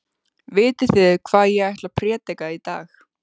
Vitið þið hvað ég ætla að prédika í dag?